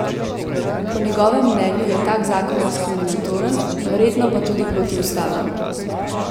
Po njegovem mnenju je tak zakon diskriminatoren, verjetno pa tudi protiustaven.